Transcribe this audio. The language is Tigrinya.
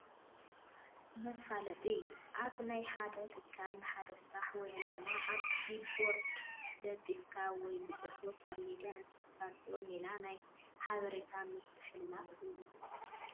መፋለጢ፡- ኣብ ናይ ሓደ ትካል ንሓደ ስራሕ ወይ ዕላማ ኣብ ቢልቦርድ ለጢፍካ ወይ ብፅሑፍ ኣብ ሚድያ እተፋልጠሉ ሜላ ናይ ሓበሬታ ምምሕልላፍ እዩ፡፡